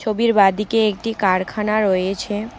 ছবির বাঁদিকে একটি কারখানা রয়েছে।